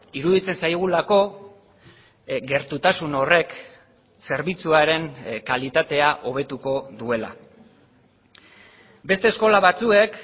iruditzen zaigulako gertutasun horrek zerbitzuaren kalitatea hobetuko duela beste eskola batzuek